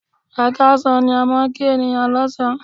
Ẹ káàsán ni a máa ń kí ènìyàn lọ́sàn án.